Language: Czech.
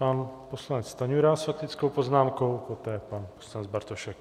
Pan poslanec Stanjura s faktickou poznámkou, poté pan poslanec Bartošek.